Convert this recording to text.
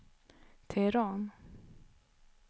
Teheran